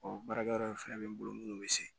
baarakɛ yɔrɔ in fɛnɛ bɛ n bolo munnu bɛ se